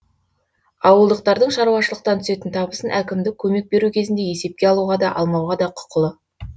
ауылдықтардың шаруашылықтан түсетін табысын әкімдік көмек беру кезінде есепке алуға да алмауға да құқылы